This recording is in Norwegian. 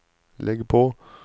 legg på